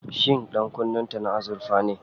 Shin ɗankunnen ta na azurfa ne?